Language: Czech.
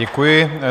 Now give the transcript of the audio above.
Děkuji.